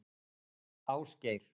Ásgeir